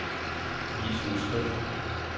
vis udskrift